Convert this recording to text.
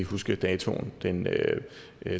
huske datoen den